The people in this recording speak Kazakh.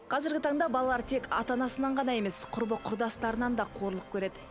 қазіргі таңда балалар тек ата анасынан ғана емес құрбы құрдастарынан да қорлық көреді